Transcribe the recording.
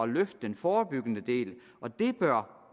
løfte den forebyggende del og det bør